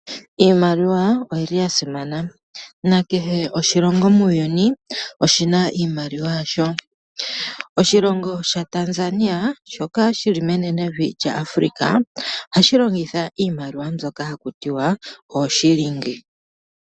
Iimaliwa oyi li ya simana, nakehe oshilongo muuyuni oshi na iimaliwa yasho. Oshilongo shaTanzania shoka shi li menenevi lyaAfrica ohashi longitha iimaliwa mbyoka ha ku tiwa ooShilingi.